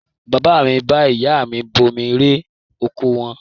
Bàbá mi bá ìyá mi bomi rẹ oko wọn.